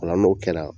Ola n'o kɛra